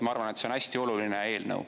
Ma arvan, et see on hästi oluline eelnõu.